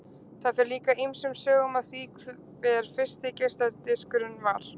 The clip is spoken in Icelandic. Það fer líka ýmsum sögum af því hver fyrsti geisladiskurinn var.